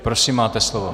Prosím, máte slovo.